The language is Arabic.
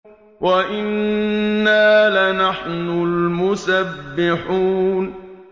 وَإِنَّا لَنَحْنُ الْمُسَبِّحُونَ